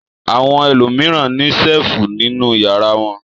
Àwọn ẹlòmíràn ní ṣẹ́lífù nínú ìyàrá wọn.